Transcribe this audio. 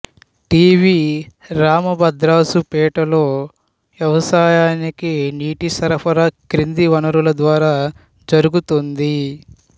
T V రామభద్రరాజుపేటలో వ్యవసాయానికి నీటి సరఫరా కింది వనరుల ద్వారా జరుగుతోంది